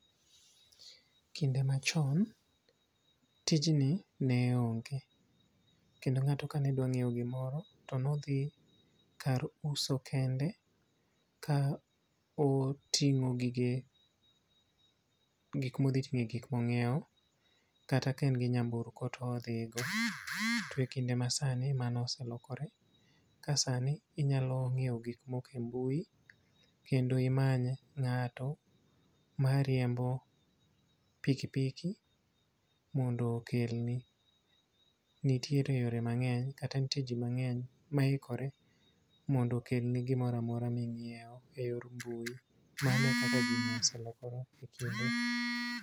Kinde machon, tijni ne onge. Kendo ngáto ka ne dwaro nyiewo gimoro to ne odhi kar uso kende. Ka otingó gige, gik ma odhi tingé gik ma onyiewo. Kata ka en gi nyamburko to odhi go. To e kinde ma sani, mano oselokore. Ka sani inyalo nyiewo gik moko e mbui, kendo imany ngáto ma riembo pikipiki mondo okelni. Nitiere yore mangény, kata nitie ji mangény maikore mondo okelni gimoro amora ma inyiewo e yor mbui. Mano e kaka gini oselokore.